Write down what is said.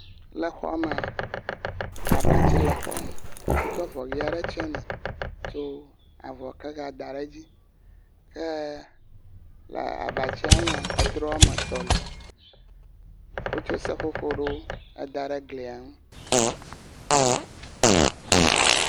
Le xɔa mea abatsi le xɔ me. Wotsɔ avɔ ʋi aɖe tsɔ nɛ. Ko avɔ keya da ɖe edzi. Xeya le abatsia nua, edrɔmetɔ li. Wotso seƒoƒo aɖewo eda ɖe glia nu.